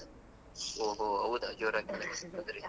ಹೊ ಹೊ ಹೌದಾ ಜೋರಾಗಿತ್ತು ಹಾಗಾದ್ರೆ.